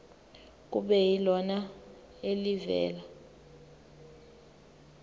kube yilona elivela